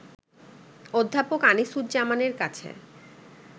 অধ্যাপক আনিসুজ্জামানের কাছে